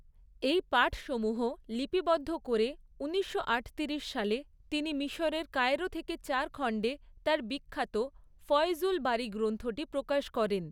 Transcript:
এই পাঠসমূহ লিপিবদ্ধ করে ঊনিশশো আটতিরিশ সালে তিনি মিশরের কায়রো থেকে চার খন্ডে তার বিখ্যাত ফয়জুল বারী গ্রন্থটি প্রকাশ করেন।